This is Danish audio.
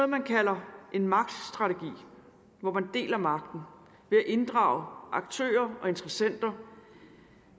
man kalder en magtstrategi hvor man deler magten ved at inddrage de aktører og interessenter